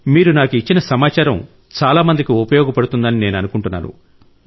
మీరు నాకు ఇచ్చిన సమాచారం చాలా మందికి ఉపయోగపడుతుందని నేను అనుకుంటున్నాను